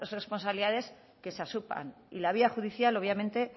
responsabilidades que se asuman y la vía judicial obviamente